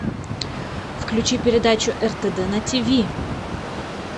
включи передачу ртд на тв